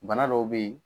Bana dɔw be ye